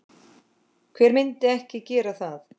Hver myndi ekki gera það?